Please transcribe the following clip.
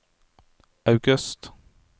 august